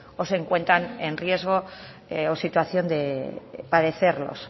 o se encuentran en riesgo o situación de padecerlos